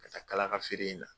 Ka taa kalaga feere in na.